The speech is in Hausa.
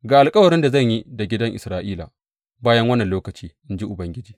Ga alkawarin da zan yi da gidan Isra’ila bayan wannan lokaci, in ji Ubangiji.